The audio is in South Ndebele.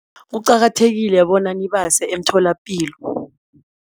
Kuqakathekile bona nibase emtholapilo.